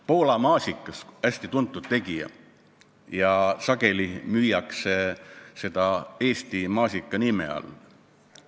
Poola maasikas on hästi tuntud tegija, mida sageli müüakse Eesti maasika nime all.